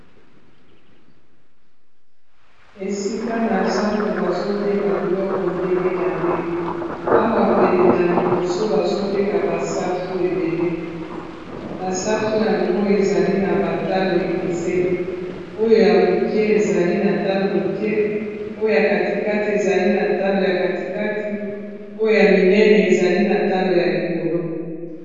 esika na zando bazoteka biloko ndenge na ndenge awa pene na liboso bazoteka basafu ebele basafu yango ezali na batalo ekeseni oyo ya moke ezali na talo moke oyoya katikati ezali na talo ya katikati oyo ya minene ezali na talo ya likolo